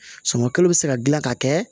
Sumankalo bɛ se ka dilan ka kɛ